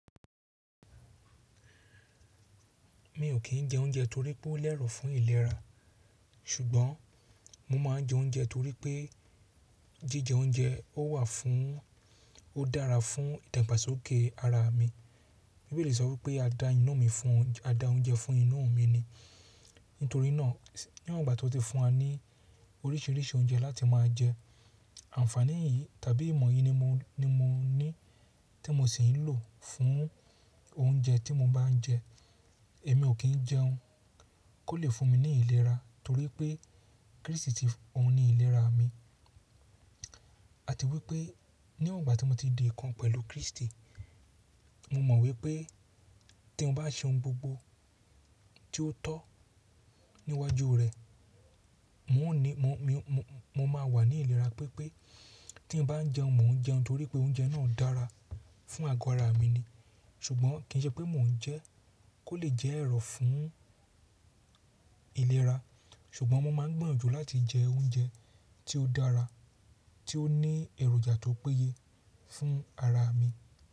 Mi ò kí ń jẹ oúnjẹ torí pé ó lẹ́rọ̀ fún ìlera, ṣùgbọ́n mo máa ń jẹ oúnjẹ torí pé jíjẹ oúnjẹ ó wà fún, ó dára fún ìdàgbàsókè ara mi. Bíbéli sọ pé a dá ina mi fún, a dá oúnjẹ fún inu mi ni. Nítorí náà, níwọ̀n ìgbà tí ó ti fún wa ní oríṣiríṣi oúnjẹ láti máa jẹ, àǹfààní yìí tàbí ìmọ̀ yìí ni mo, ni mo ní tí mo sì ń lò fún oúnjẹ tí mo bá ń jẹ. Èmi ò kí ń jẹun kó lè fún mi ní ìlera torí pé Kristi ti ohun ní ìlera mi. Àti wípé níwọ̀n ìgbà tí mo ti di ìkan pẹ̀lú Kristi, mo mọ̀ wípé tí mo bá ṣe ohun gbogbo tí ó tọ́ níwájú rẹ̀, n ò ní, mo, mi, mo máa wà ní ìlera pípé tí mo bá ń jẹun, mò ń jẹun torí pé oúnjẹ náà dára fún àgọ́ ara mi ni. Ṣùgbọ́n kì ń ṣe pé mò ń jẹun kó lè jẹ́ ẹ̀rọ̀ fún ìlera. Ṣùgbọ́n mo máa ń gbiyanjù láti jẹ oúnjẹ tí ó dára, tí ó ní èròjà tó péye fún ara mi.